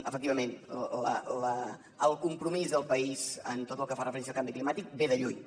efectivament el compromís del país en tot el que fa referència al canvi climàtic ve de lluny